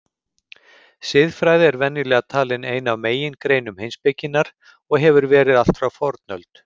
Siðfræði er venjulega talin ein af megingreinum heimspekinnar og hefur verið allt frá fornöld.